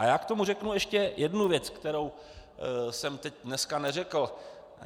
A já k tomu řeknu ještě jednu věc, kterou jsem teď dneska neřekl.